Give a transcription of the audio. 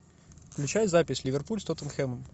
включай запись ливерпуль с тоттенхэмом